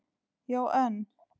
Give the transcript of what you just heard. Já, en.